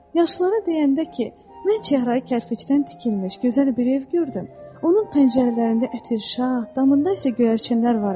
Yaşlılara deyəndə ki, mən çəhrayı kərpicdən tikilmiş gözəl bir ev gördüm, onun pəncərələrində ətirşa, damında isə göyərçinlər var idi.